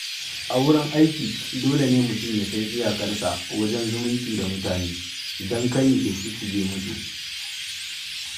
A wurin aiki, dole ne mutum ya san iyakarsa wajen zumunci da mutane don kar ya ke shisshige musu.